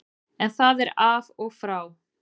En það er af og frá.